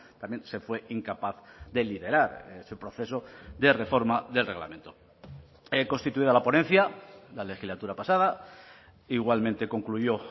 también se fue incapaz de liderar ese proceso de reforma del reglamento constituida la ponencia la legislatura pasada igualmente concluyó